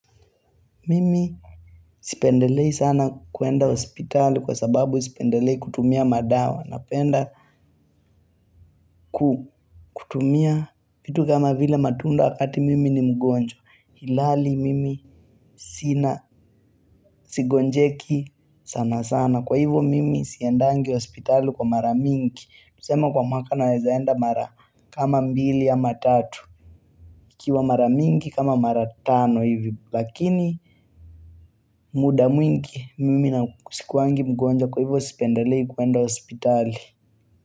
Mimi sipendelei sana kuenda hospitali kwa sababu sipendelei kutumia madawa Napenda kutumia vitu kama vile matunda wakati mimi ni mgonjwa ilhali mimi sina sigonjeki sana sana Kwa hivo mimi siendangi hospitali kwa mara mingi Tuseme kwa mwaka naweza enda mara kama mbili ama tatu ikiwa mara mingi kama mara tano hivi Lakini muda mwingi mimi na sikuwangi mgonjwa kwa hivyo sipendelei kwenda hospitali.